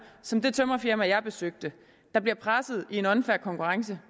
som det tømrerfirma jeg besøgte der bliver presset i en unfair konkurrence